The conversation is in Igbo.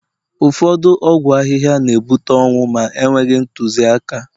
ụfọdụ ọgwụ ahịhịa na ebuta ọnwụ ma enweghị ntụziaka